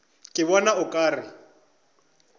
ke bona o ka re